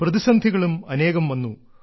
പ്രതിസന്ധികളും അനേകം വന്നു